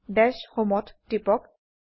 দাশ Homeত টিপক